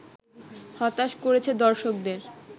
হতাশ করেছে দর্শকদের